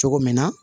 Cogo min na